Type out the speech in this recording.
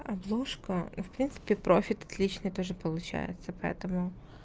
обложка ну в принципе профит отличный тоже получается поэтому